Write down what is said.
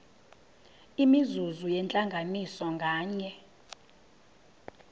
imizuzu yentlanganiso nganye